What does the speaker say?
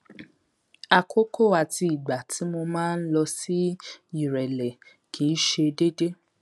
àkókò àti ìgbà tí mo máa ń lọ sí ìrẹlẹ kì í ṣe deede